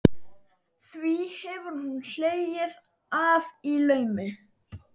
Því hefur hún hlegið að í laumi.